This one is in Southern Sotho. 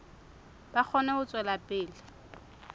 ba kgone ho tswela pele